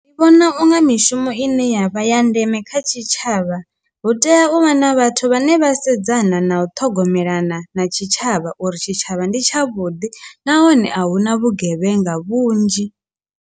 Ndi vhona unga mishumo ine ya vha ya ndeme kha tshitshavha hu tea u vha na vhathu vhane vha sedzana na u ṱhogomelana na tshitshavha uri tshitshavha ndi tsha vhuḓi nahone a hu na vhugevhenga vhunzhi.